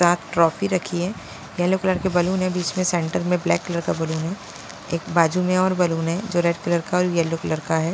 साथ ट्रॉफी रखी है येलो कलर के बालून है बीच में सेंटर में ब्लैक कलर का बलून है एक बाजू में और बलून है जो रेड कलर का और येलो कलर का है।